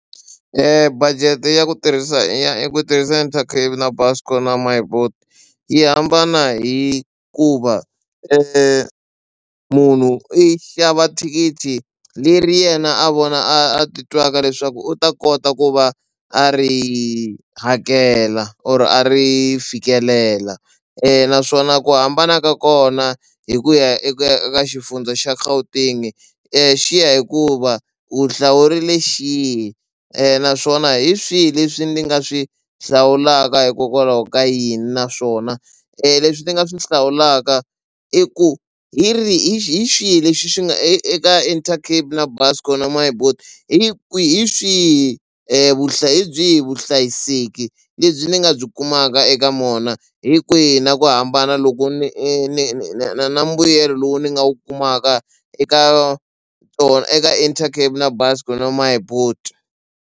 Budget ya ku tirhisa ya i ku tirhisa Intercape na Buscor na My boet yi hambana hikuva munhu i xava thikithi leri yena a vona a titwaka leswaku u ta kota ku va a ri hakela or a ri fikelela naswona ku hambana ka kona hi ku ya eka xifundza xa Gauteng xi ya hikuva u hlawurile xihi naswona hi swihi leswi ndzi nga swi hlawulaka hikokwalaho ka yini naswona leswi ni nga swi hlawulaka i ku hi ri hi xihi lexi xi nga eka Intercape na Buscor na My boet hi hi swihi hi byihi vuhlayiseki lebyi ni nga byi kumaka eka mona hi kwihi na ku hambana loko ni ni ni na na mbuyelo lowu ni nga wu kumaka eka eka Intercape na Buscor na My boet.